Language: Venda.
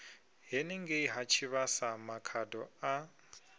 henengei ha tshivhasa makhado a